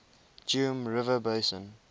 geum river basin